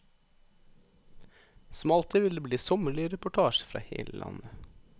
Som alltid vil det bli sommerlige reportasjer fra hele landet.